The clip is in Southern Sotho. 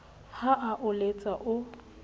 ha a o letsa o